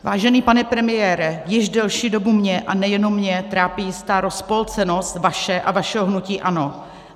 Vážený pane premiére, již delší dobu mě, a nejenom mě, trápí jistá rozpolcenost vaše a vašeho hnutí ANO.